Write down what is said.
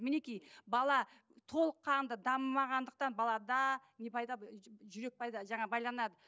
мінекей бала толыққанды дамымағандықтан балада не пайда жүрек пайда жаңағы байланады